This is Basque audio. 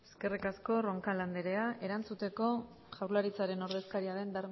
eskerrik asko roncal andrea erantzuteko jaurlaritzaren ordezkaria den